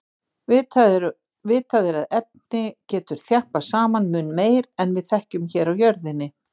Vitað er að efni getur þjappast saman mun meir en við þekkjum hér á jörðinni.